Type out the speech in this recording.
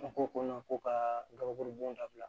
An ko ko ma ko ka gabakurubon dabila